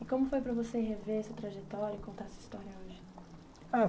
E como foi para você rever seu trajetório e contar sua história hoje?